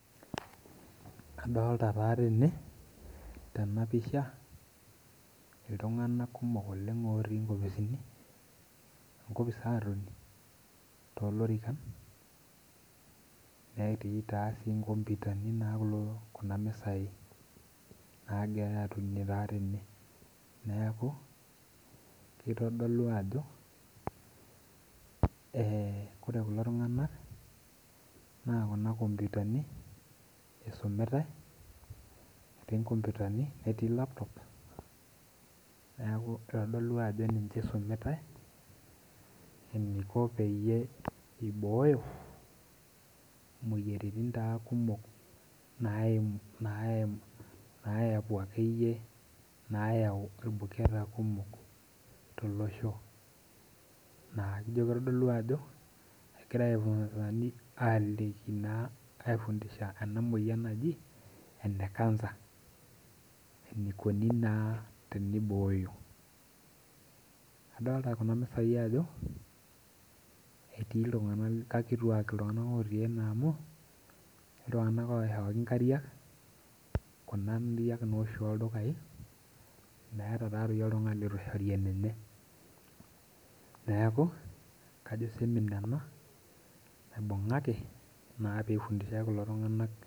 Adolita taa tene tenapisha ltung'anak kumok oleng' otii nkopisini otii enkopis atoni tolorikan netii nkomputani nagirai aitumia tene neaku adolta ajo e ore kulo tung'anak na kuna komputani isumita netii laptop neaku adolta ana kuna tokitin isumitae enaiko peyie obooyo moyiaritin kumok nayepu akeyie nayau irbuketa kumok tolosho ijo kitodolu ajo egira aliki aifundisha enamoyia najiene kansa enikuni naa tenibooyoadolta kuna etii ltung'anak kakituak ltung'anak otii ene amu etii ltung'anak oishooko nkariak kunda ariak oldukae meeta oltungani lituishori olenye neakubkajo seminar ibungaki pelikini kulo tung'anak.